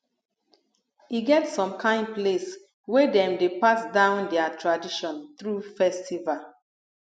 e get som kain place wey dem dey pass down dia tradition thru festival